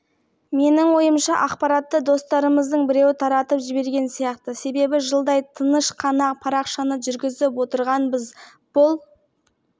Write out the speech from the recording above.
туралы тек жақын достарымыз ғана білген ендібіз одан әрі абай боламыз осы қалпымызда белгісіз ұятсыз